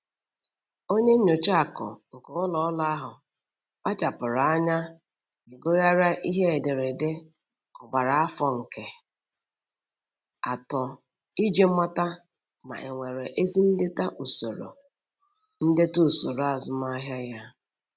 Onye nyocha akụ nke ụlọ ọrụ ahụ kpachapụrụ anya ma gụgharịa ihe ederede ọgbara afọ nke um atọ iji mata ma enwere ezi ndeta usoro ndeta usoro azụmahịa ya.